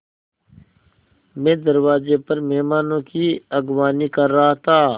मैं दरवाज़े पर मेहमानों की अगवानी कर रहा था